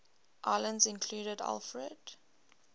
islands included alfred